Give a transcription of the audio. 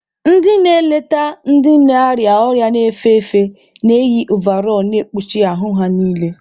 Ndị na-eleta ndị na-arịa ọrịa na-efe efe na-eyị ovarọl na-ekpuchi ahụ ha niile.